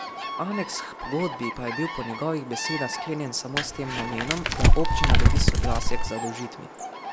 Aneks h pogodbi pa je bil po njegovih besedah sklenjen samo s tem namenom, da občina dobi soglasje k zadolžitvi.